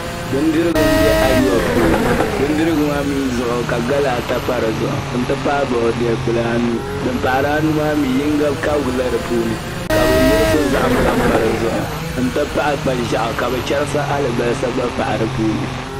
Bidirigu n bɛ ayuwa puuni ka gala ata pa di zuɣu n ti pahi boodiyɛ kpulaa anu din pahari anu maa mii yinga kabigila di puuni ka bi wurisi zaham pa dizuɣu n ti pahi kpa ʒiɛɣu ka bi chɛrisi alibarisa gba pahi dinni